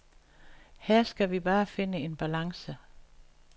Her skal vi bare finde en balance.